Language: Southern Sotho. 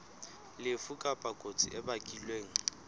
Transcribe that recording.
lefu kapa kotsi e bakilweng